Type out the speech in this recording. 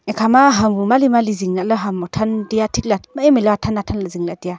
ekhama ham bu mali mali zing lahley ham othan taiya thikley mai mailey athan athan lah e zing lah e taiya.